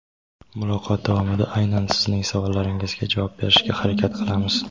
Muloqot davomida aynan sizning savollaringizga javob berishga harakat qilamiz.